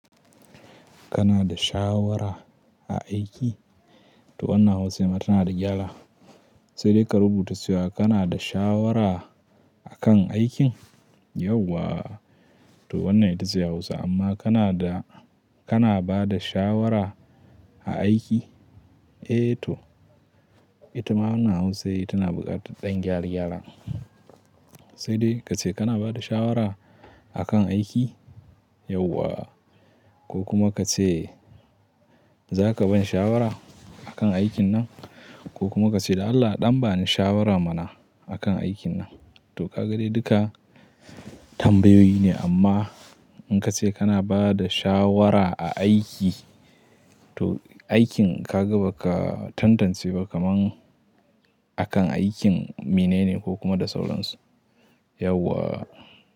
Kana da shawara a aiki? To wannan Hausan a tana da gyara. Sai dai ka rubuta cewa kana da shawara a kan aikin? Yauwa. To wannan ita ce Hausa amma kana da, kana ba da shawara a aiki? Eh to ita ma wannan Hausai tana buƙatar ɗan gyare-gyaren. Sai dai ka ce kana ba da shawara a kan aiki? Yauwa. Ko kuma ka ce za ka bani shawara a kan aikin nan, ko kuma ka ce dan Allah ɗan bani shawara mana a kan aikin nan. To ka ga dai duka tambayoyi ne amma in ka ce kana ba da shawara a aiki to aikin ka ga ba ka tantance ba kaman a kan aikin mene ne ko kuma da sauransu. Yauwa.